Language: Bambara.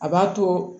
A b'a to